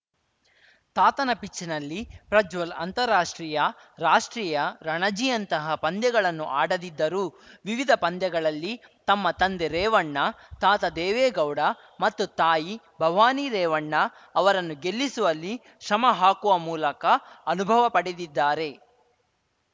ತಾತನ ಪಿಚ್‌ನಲ್ಲಿ ಪ್ರಜ್ವಲ್‌ ಅಂತಾರಾಷ್ಟ್ರೀಯ ರಾಷ್ಟ್ರೀಯ ರಣಜಿಯಂತಹ ಪಂದ್ಯಗಳನ್ನು ಆಡದಿದ್ದರೂ ವಿವಿಧ ಪಂದ್ಯಗಳಲ್ಲಿ ತಮ್ಮ ತಂದೆ ರೇವಣ್ಣ ತಾತ ದೇವೇಗೌಡ ಮತ್ತು ತಾಯಿ ಭವಾನಿ ರೇವಣ್ಣ ಅವರನ್ನು ಗೆಲ್ಲಿಸುವಲ್ಲಿ ಶ್ರಮ ಹಾಕುವ ಮೂಲಕ ಅನುಭವ ಪಡೆದಿದ್ದಾರೆ